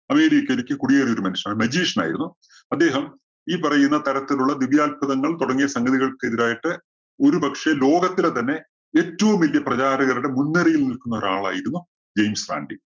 അമേരിക്കയിലേക്ക് കുടിയേറിയ ഒരു മനുഷ്യന്‍ ആയിരുന്നു magician ആയിരുന്നു. അദ്ദേഹം ഈ പറയുന്ന തരത്തിലുള്ള ദിവ്യ അത്ഭുതങ്ങൾ തുടങ്ങിയ സംഗതികൾക്കെതിരായിട്ട് ഒരുപക്ഷേ ലോകത്തിലെ തന്നെ ഏറ്റവും വല്ല്യ പ്രചാരകരുടെ മുൻനിരയിൽ നിൽക്കുന്ന ഒരാൾ ആയിരുന്നു ജെയിംസ് റാൻഡി.